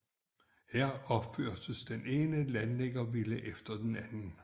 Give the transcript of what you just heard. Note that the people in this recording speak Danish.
Her opførtes den ene landliggervilla efter den anden